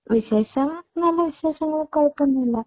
വിശേഷം നല്ല വിശേഷങ്ങൾ. കുഴപ്പോന്നും ഇല്ല.